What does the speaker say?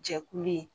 Jɛkulu ye